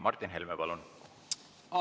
Martin Helme, palun!